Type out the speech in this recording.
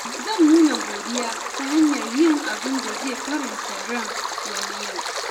Zan nuna godiya ta hanyar yin abin da zai faranta ran wani yau.